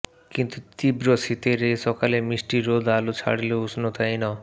কিন্তু তীব্র শীতের এ সকালে মিষ্টি রোদ আলো ছড়ালেও উষ্ণতা এন